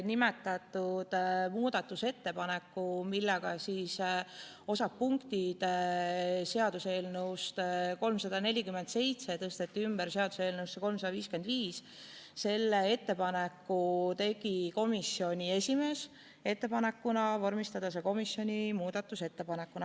Nimetatud muudatusettepaneku, millega osa punkte seaduseelnõust 347 tõsteti ümber seaduseelnõusse 355, tegi komisjoni esimees ettepaneku vormistada see komisjoni muudatusettepanekuna.